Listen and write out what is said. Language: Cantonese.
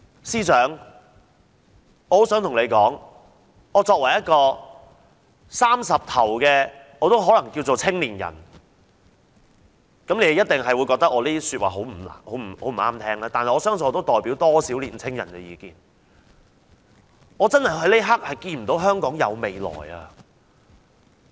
司長，作為一位30歲出頭的青年人，你一定會覺得我的話不中聽，但我相信我的意見也可代表不少年青人，我想告訴你：我這一刻真的看不見香港的未來。